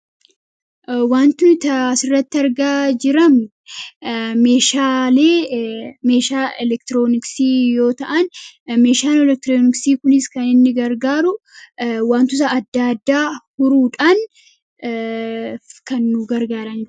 wantunitaasirratti argaa jiram meeshaa elektirooniksii yoo ta'an meeshaan elektirooniksii kuniis kan inni gargaaru wantusa adda addaa huruudhaan kannu gargarae